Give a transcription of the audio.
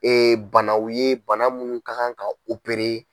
banaw ye bana munnu ka kan ka